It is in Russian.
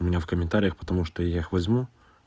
у меня в комментариях потому что я их возьму